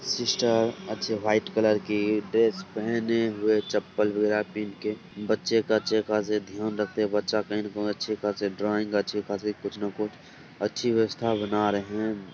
Sister अच्छे white colour की dress पहने हुए चप्पल वगैरह पिन्ह के बच्चे का अच्छे खासे ध्यान रखते बच्चा कही ना कही अच्छे खासे ड्राइंग अच्छे खासे कुछ ना कुछ अच्छी व्यवस्था बना रहें हैं।